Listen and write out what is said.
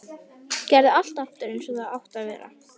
Gerði allt aftur eins og það átti að vera.